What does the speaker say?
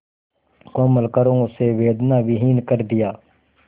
कोमल करों से वेदनाविहीन कर दिया